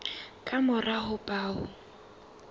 ka mora ho ba o